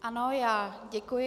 Ano, já děkuji.